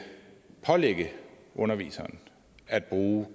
pålægge underviseren at bruge